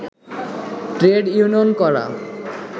trade union করা